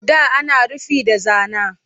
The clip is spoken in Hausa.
Da ana rufi da zana